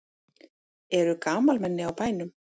Eru gamalmenni á bænum?